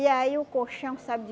E aí o colchão sabe de